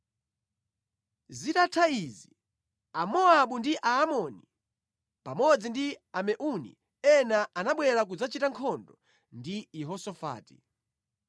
Zitatha izi, Amowabu ndi Aamoni pamodzi ndi Ameuni ena anabwera kudzachita nkhondo ndi Yehosafati.